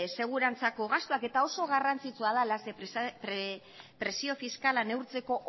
segurantzako gastuak eta oso garrantzitsua dela zeren presio fiskala neurtzeko